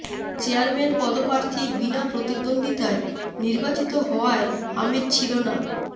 chairman পদপ্রার্থী বিনা প্রতিদ্ব্বন্দ্বিতায় নির্বাচিত হওয়ায় আমেজ ছিল না